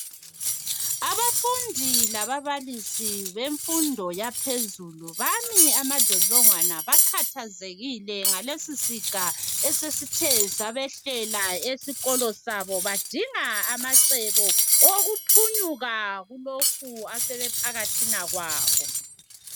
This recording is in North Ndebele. Abafundi lababalisi bemfundo yaphezulu bami amadlodlongwana bakhathazekile ngalesisiga esesithe sabehlela esikolo sabo badinga amacebo owokuphunyuka kulokhu asebephakathina kwakho.